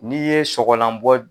N'i ye sɔgɔlan bɔ